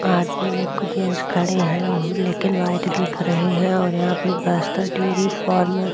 आदमी लोग जेंस खड़े हैं लेकिन वाइट दिख रहे हैं और यहां पे बस्तर डेरी फॉर्म --